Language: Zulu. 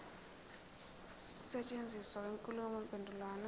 ukusetshenziswa kwenkulumo mpendulwano